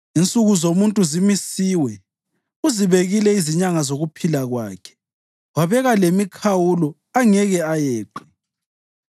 Insuku zomuntu zimisiwe; uzibekile izinyanga zokuphila kwakhe wabeka lemikhawulo angeke ayeqe.